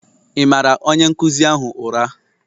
Ị maara onye nkụzi ahụ ụra?